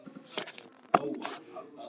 Guðjón Arnar Kristjánsson: Vilja menn borgríki?